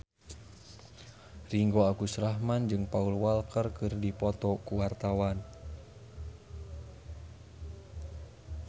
Ringgo Agus Rahman jeung Paul Walker keur dipoto ku wartawan